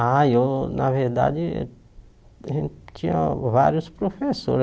Ai, eu, na verdade, a gente tinha vários professores.